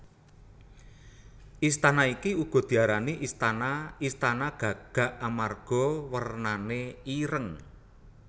Istana iki uga diarani istana Istana Gagak amarga wernane ireng